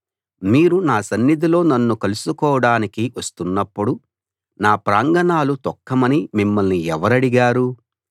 మీరు నా సన్నిధిలో నన్ను కలుసుకోడానికి వస్తున్నప్పుడు నా ప్రాంగణాలు తొక్కమని మిమ్మల్ని ఎవరడిగారు